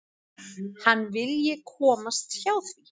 Hann vilji komast hjá því.